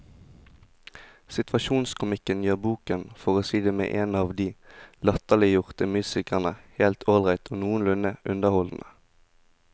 Situasjonskomikken gjør boken, for å si det med en av de latterliggjorte musikerne, helt ålreit og noenlunde underholdende.